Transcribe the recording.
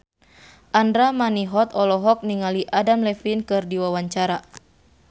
Andra Manihot olohok ningali Adam Levine keur diwawancara